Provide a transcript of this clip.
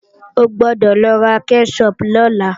O gbọ́dọ̀ lọ ra kẹ́ṣọpù lọ́la!